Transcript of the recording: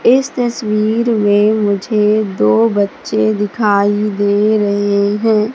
इस तस्वीर में मुझे दो बच्चे दिखाई दे रहे हैं।